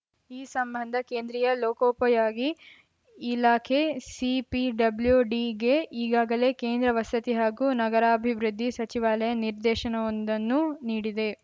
ಈ ಸಂಬಂಧ ಕೇಂದ್ರೀಯ ಲೋಕೋಪಯೋಗಿ ಇಲಾಖೆ ಸಿಪಿಡಬ್ಲ್ಯುಡಿಗೆ ಈಗಾಗಲೇ ಕೇಂದ್ರ ವಸತಿ ಹಾಗೂ ನಗರಾಭಿವೃದ್ಧಿ ಸಚಿವಾಲಯ ನಿರ್ದೇಶನವೊಂದನ್ನು ನೀಡಿದೆ